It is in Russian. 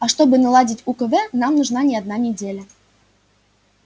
а чтобы наладить укв нам нужна не одна неделя